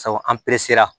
Sabu an peresera